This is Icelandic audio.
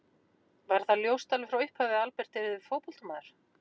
Var það ljóst alveg frá upphafi að Albert yrði fótboltamaður?